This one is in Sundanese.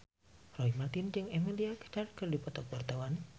Roy Marten jeung Emilia Clarke keur dipoto ku wartawan